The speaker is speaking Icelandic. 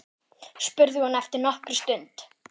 spurði hún eftir nokkra stund.